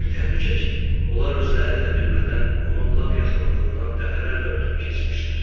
Elə bir təhlükə ki, onlar özləri də bilmədən onun lap yaxınlığından dəfələrlə ötüb keçmişlər.